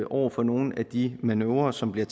over for nogle af de manøvrer som bliver